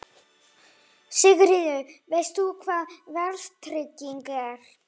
Sigríður: Veist þú hvað verðtrygging er?